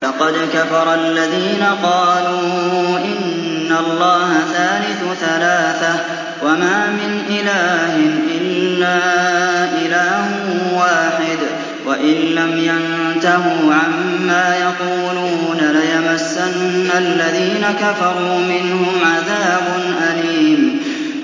لَّقَدْ كَفَرَ الَّذِينَ قَالُوا إِنَّ اللَّهَ ثَالِثُ ثَلَاثَةٍ ۘ وَمَا مِنْ إِلَٰهٍ إِلَّا إِلَٰهٌ وَاحِدٌ ۚ وَإِن لَّمْ يَنتَهُوا عَمَّا يَقُولُونَ لَيَمَسَّنَّ الَّذِينَ كَفَرُوا مِنْهُمْ عَذَابٌ أَلِيمٌ